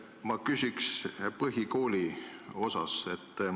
Ma küsin põhikooli kohta.